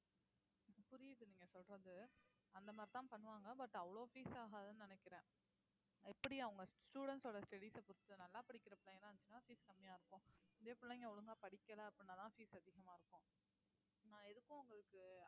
புரியுது நீங்க சொல்றது அந்த மாதிரிதான் பண்ணுவாங்க but அவ்ளோ fees ஆகாதுன்னு நினைக்கிறேன் எப்படி அவுங்க students ஓட studies அ பொறுத்து நல்லா படிக்கிற பையனா இருந்துச்சுன்னா fees கம்மியா இருக்கும் இதே பிள்ளைங்க ஒழுங்கா படிக்கல அப்படின்னாதான் fees அதிகமா இருக்கும் நான் எதுக்கும் உங்களுக்கு